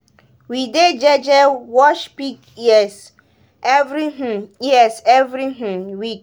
we dey jeje wash pig ears every um ears every um week.